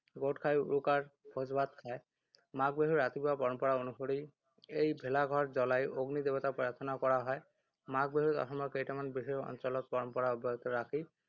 গোট খাই উৰুকাৰ ভোজ ভাত খায়। মাঘ বিহুৰ ৰাতিপুৱা পৰম্পৰা অনুসৰি এই ভেলা ঘৰ জ্বলাই অগ্নি দেৱতাক প্ৰাৰ্থনা কৰা হয়। মাঘ বিহুত অসমৰ কেইটামান বিশেষ অঞ্চলত পৰম্পৰা অব্যাহত ৰাখি